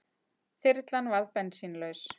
Þyrlan varð bensínlaus